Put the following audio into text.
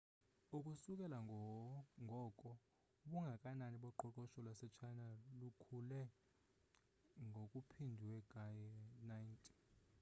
ukusukela ngoko ubungakanani boqoqosho lwase china lukhule ngokuphindwe ka-90